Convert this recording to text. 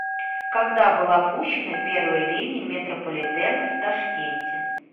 когда была пущена первая линия метрополитена в ташкенте